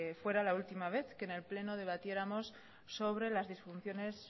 fuera la última vez que en el pleno debatiéramos sobre las disfunciones